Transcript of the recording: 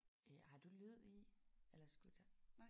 Øh har du lyd i? Eller skulle der?